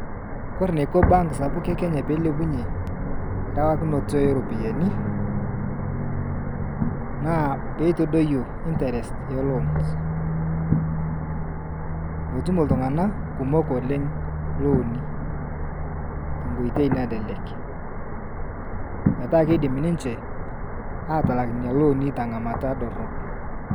Kore neko bank sapuk e Kenya peelepunye rewakunoto eeropiyiani, naa peeitodoyuo intrest e loons, meetumo ltung'ana kumok oleng' looni tenkoitoi nalelek, petaaa keidim ninche aatalak nena looni teng'amata dorop.